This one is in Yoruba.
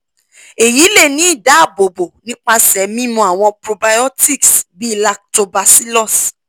eyi le ni idaabobo nipasẹ mimu awọn probiotics bii lactobacillus